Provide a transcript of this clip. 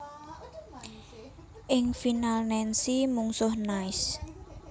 Ing final Nancy mungsuh Nice